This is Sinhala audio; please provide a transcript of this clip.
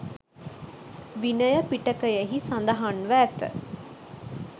විනය පිටකයෙහි සඳහන්ව ඇත.